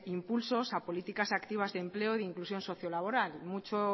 impulsos a políticas activas de empleo e inclusión sociolaboral mucho